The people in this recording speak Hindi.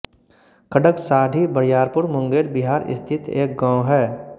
खड़्गसाढी बरियारपुर मुंगेर बिहार स्थित एक गाँव है